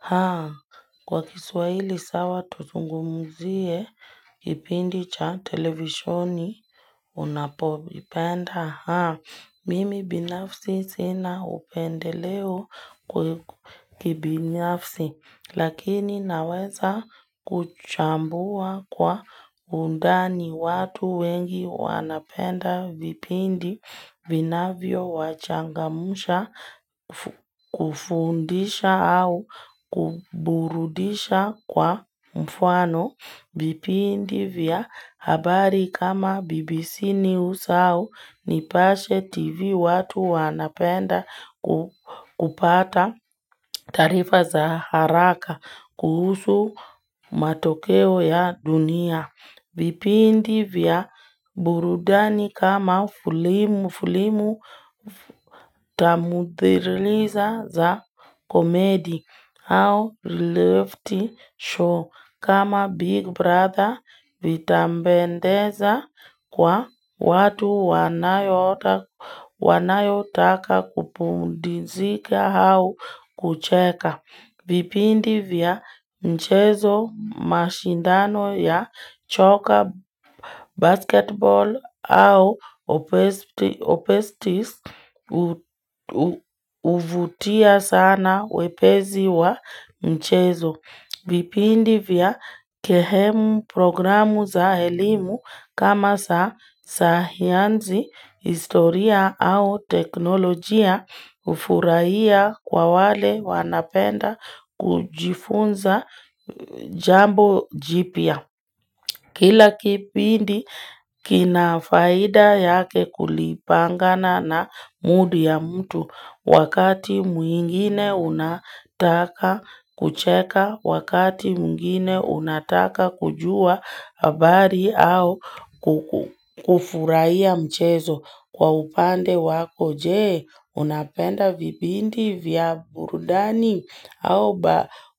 Haa, kwa kiswahili sawa tuzungumuzie kipindi cha televisheni unapoipenda. Mimi binafsi sina upendeleo kibinafsi, lakini naweza kuchambua kwa undani watu wengi wanapenda vipindi vinavyo wachangamusha kufundisha au kuburudisha kwa mfano vipindi vya. Habari kama BBC News au nipashe TV watu wanapenda kupata taarifa za haraka kuhusu matokeo ya dunia. Vipindi vya burudani kama fulimu fulimu tamudhiriniza za komedi au lefty show, kama big brother vitambendeza kwa watu wanayo taka kupundizika au kucheka. Vipindi vya mchezo, mashindano ya choka, basketball au opestis uvutia sana wepezi wa mchezo. Vipindi vya kehemu, programu za elimu kama sahianzi, historia au teknolojia ufuraiya kwa wale wanapenda kujifunza jambo jipia. Kila kipindi kinafaida yake kulipangana na mudi ya mtu wakati mwingine unataka kucheka, wakati mwingine unataka kujua habari au kufuraiya mchezo. Kwa upande wako jee unapenda vipindi vya burudani au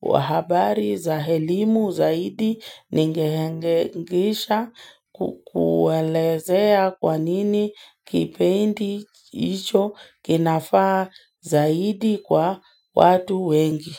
bahabari za helimu zaidi ningehengeisha kukuelezea kwa nini kipendi hicho kinafaa zaidi kwa watu wengi.